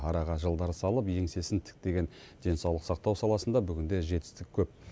араға жылдар салып еңсесін тіктеген денсаулық сақтау саласында бүгінде жетістік көп